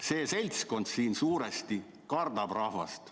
See seltskond siin suuresti kardab rahvast.